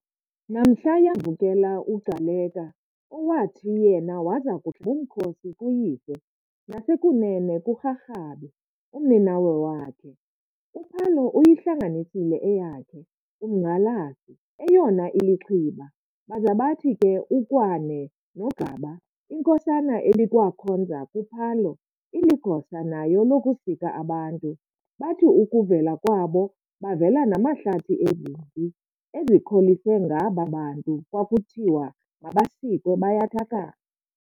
Namhla yavukela uGcaleka, owathi yena waza kuhlaba umkhosi kuyise, nasekunene kuRharhabe, umninawe wakhe. uPhalo uyihlanganisile eyakhe, Umnqhalasi, eyona ilixhiba, baza bathi ke uKwáne noGaba inkosana ebikwakhonza kuPhalo, iligosa nayo lokusika abantu, bathi ukuvela kwabo bavela namahlathi ezimpi ezikholise ngaba bantu kwakuthiwe mabasikwe bayathakatha.